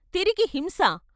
తిరిగి హింసా?